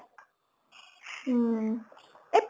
উম। এই